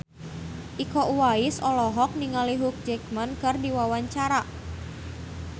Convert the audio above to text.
Iko Uwais olohok ningali Hugh Jackman keur diwawancara